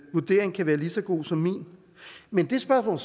vurdering kan være lige så god som min men det spørgsmål